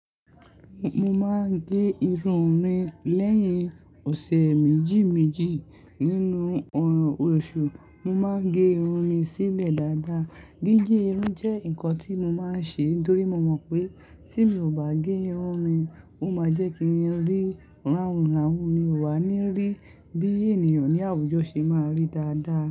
Mo máa ń gẹ irun mi lẹ́yìn ọ̀sẹ̀ méjì méjì nínú oṣù. Mo máa ń gẹ irun mi sílẹ̀ dáadáa. Gígé irun jẹ́ nǹkan tí mo máa ń ṣe nítorí mo mọ̀ pé tí mi ò bá gẹ irun mi, ó máa jẹ́ kí n rí ràhùn ràhùn mi o wá nírí bí ènìyàn ní àwùjọ ṣe máa rí dáadáa.